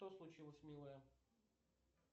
что случилось милая